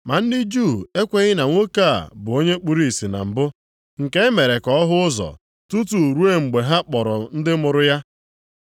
Ma ndị Juu ahụ ekweghị na nwoke a bụ onye kpuru ìsì na mbụ, nke e mere ka ọ hụ ụzọ, tutu ruo mgbe ha kpọrọ ndị mụrụ ya.